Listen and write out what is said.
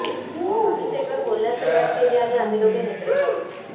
आम्ही सेटवर बोलण्यास सुरुवात केली आणि आम्ही दोघे मित्र झालो